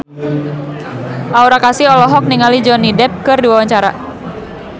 Aura Kasih olohok ningali Johnny Depp keur diwawancara